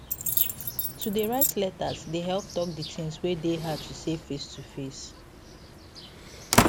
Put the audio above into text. to dey write letters dey help talk d things wey dey hard to say face to face